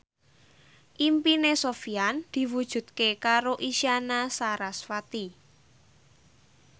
impine Sofyan diwujudke karo Isyana Sarasvati